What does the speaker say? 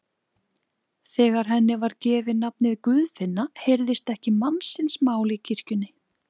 Þegar henni var gefið nafnið Guðfinna heyrðist ekki mannsins mál í kirkjunni.